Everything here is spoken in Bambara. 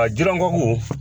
A jirɔngɔku